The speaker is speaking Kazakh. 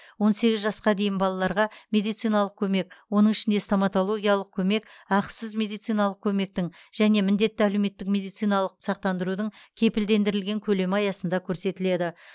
он сегіз жасқа дейін балаларға медициналық көмек оның ішінде стоматологиялық көмек ақысыз медициналық көмектің және міндетті әлеуметтік медициналық сақтандырудың кепілдендірілген көлемі аясында көрсетіледі